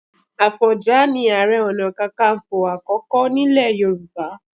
Àfọ̀njá ni Ààrẹ Ọ̀nà Kakaǹfò àkọ́kọ́ nílẹ̀ Yorùbá.